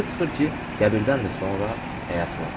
Elə çıxır ki, qəbirdən də sonra həyat var.